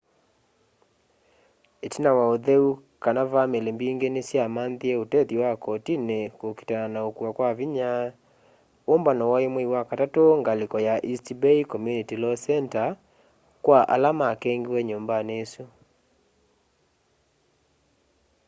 itina wa utheu kana vamili mbingi nisyamanthie utethyo wa kotini kuukitana na ukuwa kya vinya umbano wai mwei wa katatu ngaliko ya east bay community law center kwa ala makengiwe nyumbani isu